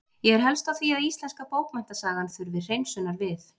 Ég er helst á því að íslenska bókmenntasagan þurfi hreinsunar við.